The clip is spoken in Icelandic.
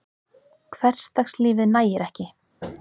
Hversdagslífið nægir ekki.